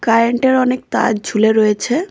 Current -এর অনেক তার ঝুলে রয়েছে।